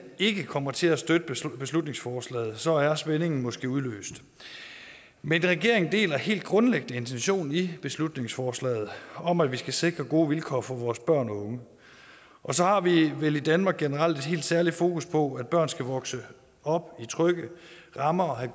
ikke kommer til at støtte beslutningsforslaget så er spændingen måske udløst men regeringen deler helt grundlæggende intentionen i beslutningsforslaget om at vi skal sikre gode vilkår for vores børn og unge og så har vi vel i danmark generelt et helt særligt fokus på at børn skal vokse op i trygge rammer og have